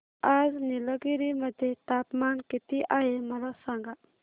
आज निलगिरी मध्ये तापमान किती आहे मला सांगा